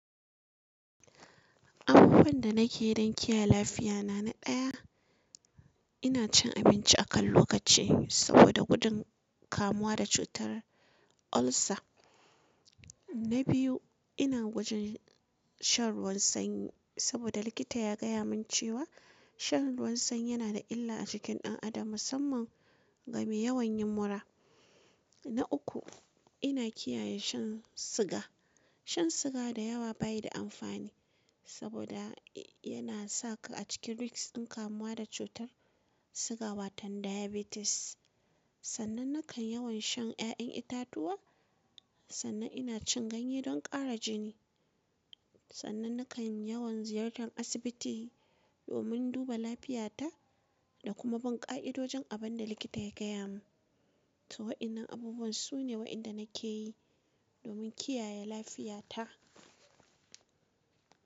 Abubuwan da nake yi don kiyaye lafiya na, na ɗaya, ina cin abinci a kan lokaci saboda gudun kamuwa da cutar ulcer. Na biyu, ina gwajin shan ruwan sanyi saboda likita ya gaya min cewa shan ruwan sanyi yana da illa a jikin ɗan adam musamman game yawan yinmura. Na uku, ina kiyaye shan siga. Shan siga da yawa ba yi da amfani saboda yana sa ka a cikin risk in kamuwa da cutar siga wato diabetes. Sannan nakan yawan shan ƴaƴan itatuwa, sannan ina cin ganye don ƙara jini. Sannan nakan yawan ziyartar asibiti domin duba lafiyata da kuma bin ƙa'idojin abin da likita ya gaya min. To waɗannan abubuwan su ne waɗanda nake yi domin kiyaye lafiyata.